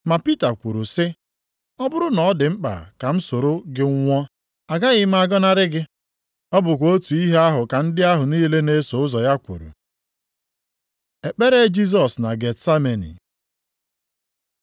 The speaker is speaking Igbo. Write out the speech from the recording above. Ma Pita kwuru sị, “Ọ bụrụ na ọ dị mkpa ka m soro gị nwụọ, agaghị m agọnarị gị.” Ọ bụkwa otu ihe ahụ ka ndị ahụ niile na-eso ụzọ ya kwuru. Ekpere Jisọs na Getsameni